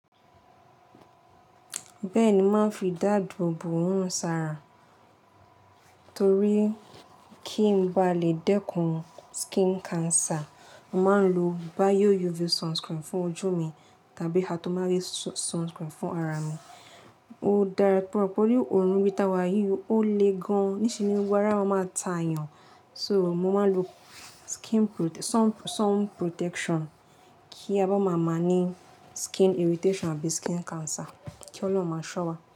Bẹ́ẹ̀ni, màá fi dàdọ̀bọ̀ hàn sára toríí kí ń bá lè dẹ́kun skin cancer. Màá ń lo bio UV sunscreen fún ojú mi tàbí hatomawe sunscreen fún ara mi. Ó dára pupọ̀ tori òórùn ibi ta wayí ò léè gan-an, ní sení gbogbo arà má maa ta èèyàn. So, mo máa ń lo skin pro-- sun, sun protection kí a bá máa máa ní skin irritation àbí skin cancer. Kí Ọlọ́run máa sọ́ wa.